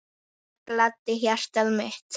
Það gladdi hjartað mitt.